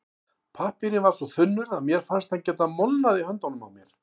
Pappírinn var svo þunnur að mér fannst hann geta molnað í höndunum á mér.